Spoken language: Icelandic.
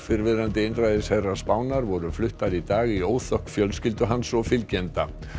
fyrrverandi einræðisherra Spánar voru fluttar í dag í óþökk fjölskyldu hans og fylgjenda